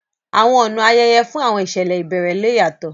Àwọn ọ̀nà ayẹyẹ fún àwọn ìṣẹ̀lẹ̀ ìbẹ̀rẹ̀ le yàtọ̀